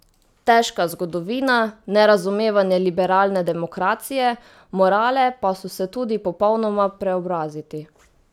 Težka zgodovina, nerazumevanje liberalne demokracije, morale pa so se tudi popolnoma preobraziti.